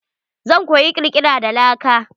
Zan koyi kirkira da laka.